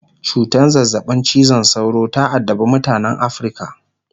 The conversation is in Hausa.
cutan zazzabin cizon sauro ta addabe mutanan Africa